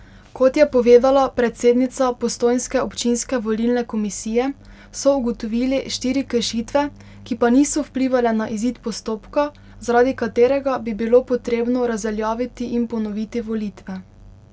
Kot je povedala predsednica postojnske občinske volilne komisije, so ugotovili štiri kršitve, ki pa niso vplivale na izid postopka, zaradi katerega bi bilo potrebno razveljaviti in ponoviti volitve.